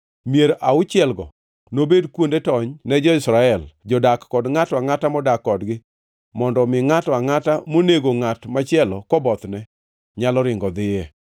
Mier auchielgo nobed kuonde tony ne jo-Israel, jodak kod ngʼato angʼata modak kodgi, mondo omi ngʼato angʼata monego ngʼat machielo kobothne nyalo ringo dhiye.